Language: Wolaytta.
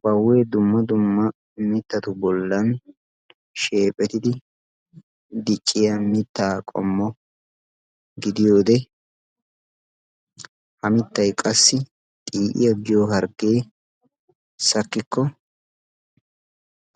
Baawe dumma dumma mittatu bollan sheephetidi dicciya mitta qommo gidiyoode ha mittay qassi xi'iya giyo hargge sakkikko